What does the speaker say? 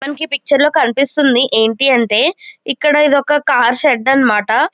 మనకి ఈ పిక్చర్ లో కనిపిస్తుంది ఏంటి అంటే ఇక్కడ ఇదొక కార్ షెడ్ అన్నమాట.